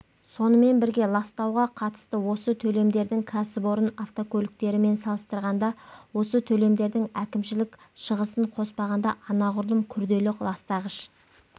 сонымен бірге ластауға қатысты осы төлемдердің ксіпорын автокөліктерімен салыстырғанда осы төлемдердің әкімшілік шығысын қоспағанда анағұрлым күрделі ластағыш